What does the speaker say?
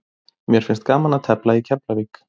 Mér finnst gaman að tefla í Keflavík.